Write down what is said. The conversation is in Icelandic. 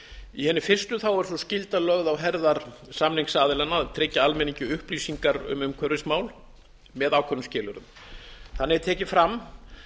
í hinni fyrstu er sú skylda lögð á herðar samningsaðilanna að tryggja almenningi upplýsingar um umhverfismál með ákveðnum skilyrðum þannig er tekið fram